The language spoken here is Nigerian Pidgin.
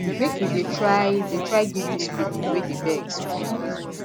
make you dey try dey try give dis pipo wey dey beg small moni